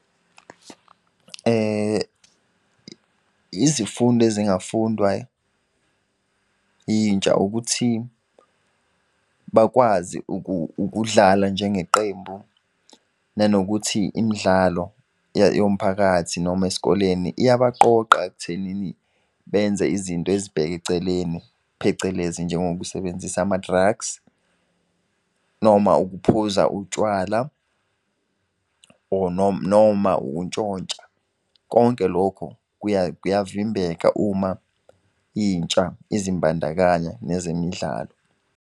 Izifundo ezingafundwa intsha ukuthi bakwazi ukudlala njengeqembu, nanokuthi imidlalo yomphakathi noma esikoleni iyabaqoqa ekuthenini benze izinto ezibheke eceleni, phecelezi njengokusebenzisa ama-drugs, noma ukuphuza utshwala, or noma ukuntshontsha. Konke lokho kuyavimbeka uma intsha izimbandakanya nezemidlalo.